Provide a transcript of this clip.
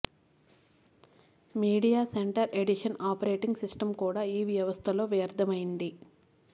media center edition operating system కూడా ఈ వ్యవస్థలో వ్యర్థమైంది